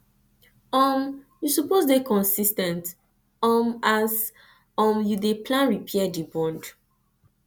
um you suppose dey consis ten t um as um you dey plan repair di bond